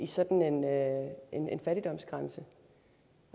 sådan en fattigdomsgrænse